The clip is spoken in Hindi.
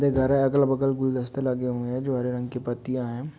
ये घर है अगल-वगल गुलदस्ते लगे हुए है जो हरे रंग की पत्तिया है।